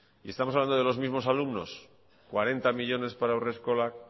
y estamos hablando de los mismos alumnos cuarenta millónes para haurreskolak